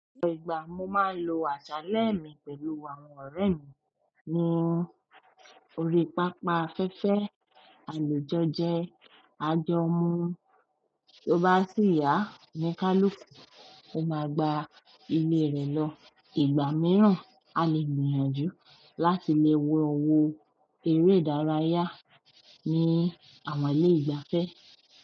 Ọ̀pọ̀ ìgbà ni mo máa ń lò àṣálẹ́ mi pẹ̀lú àwọn oore mi, ní orí pápá afẹ́fẹ́, a lè jọ jẹ, a jọ mu. Tí o bá sì yá, oníkáluku, o máa gba ilé rẹ lọ. Ìgbà mìíràn, a lè gbìyànjú láti lè wo wó eré ìdárayá ní àwọn ilé ìgbafẹ́.